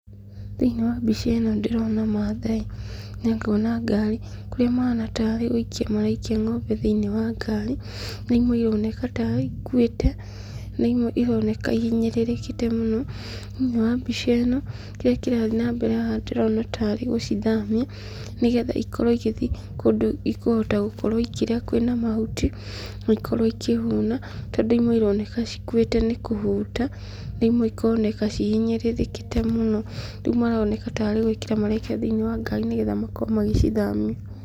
Thĩinĩ wa mbica ĩno ndĩrona mathai na ngona ngari, kũrĩa mahana tarĩ gũikia maraikia ng'ombe thĩinĩ wa ngari, na imwe ironeka tarĩ ikuĩte, na imwe ironeka ihinyĩrĩrĩkĩte mũno, thĩinĩ wa mbica ĩno, kĩrĩa kĩrathiĩ na mbere haha ndĩrona tarĩ gũcithamia, nĩgetha ikorwo igĩthiĩ kũndũ ikũhota gũkorwo ikĩrĩa kwĩna mahuti, na ikorwo ikĩhũna, tondũ imwe cironeka ikuĩte nĩ kũhũta, na imwe ikoneka cihinyĩrĩrĩkĩte mũno, rĩu maroneka tarĩ gwĩkĩra marekĩra thĩinĩ wa ngari nĩgetha makorwo magĩcithamia.